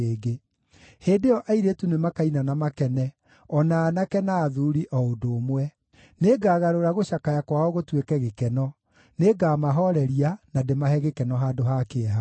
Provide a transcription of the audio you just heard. Hĩndĩ ĩyo airĩtu nĩmakaina na makene, o na aanake na athuuri o ũndũ ũmwe. Nĩngagarũra gũcakaya kwao gũtuĩke gĩkeno; nĩngamahooreria, na ndĩmahe gĩkeno handũ ha kĩeha.